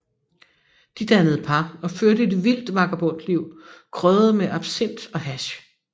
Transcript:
De dannede par og førte et vildt vagabondliv krydret med absint og hash